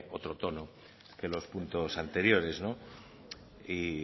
otro tono que los puntos anteriores y